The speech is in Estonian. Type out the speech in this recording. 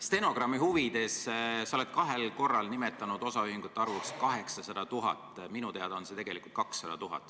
Stenogrammi huvides: sa oled kahel korral nimetanud osaühingute arvuks 800 000, minu teada on see tegelikult 200 000.